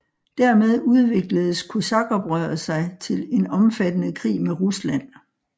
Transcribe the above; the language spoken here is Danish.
Dermed udvikledes kosakoprøret sig til en omfattende krig med Rusland